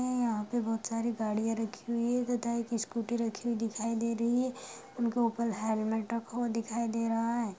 यहाँ पे बोहोत सारी गाड़ियाँ रखी हुई है तथा एक स्कूटी रखी हुई दिखाई दे रही है उनके ऊपर हेलमेट रखा हुआ दिखाई दे रहा है।